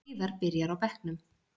Heiðar byrjar á bekknum